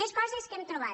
més coses que hem trobat